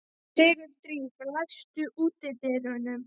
Sigurdríf, læstu útidyrunum.